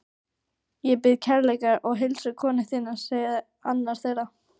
Ég bið kærlega að heilsa konu þinni sagði annar þeirra.